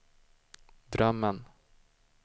drömmen